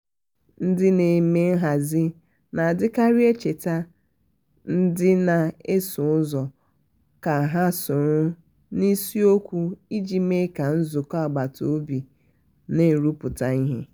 ndị na-eme nhazi na-adikari echetara ndị na-eso ụzọ ka ha nọrọ n' isiokwu iji mee ka nzuko agbata obi na-arụpụta ihe.